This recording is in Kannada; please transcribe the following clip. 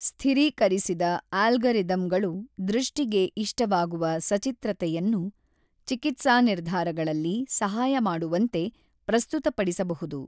ಸ್ಥಿರೀಕರಿಸಿದ ಅಲ್ಗಾರಿದಮ್‌ಗಳು ದೃಷ್ಟಿಗೆ ಇಷ್ಟವಾಗುವ ಸಚಿತ್ರತೆಯನ್ನು ಚಿಕಿತ್ಸಾ ನಿರ್ಧಾರಗಳಲ್ಲಿ ಸಹಾಯ ಮಾಡುವಂತೆ ಪ್ರಸ್ತುತಪಡಿಸಬಹುದು.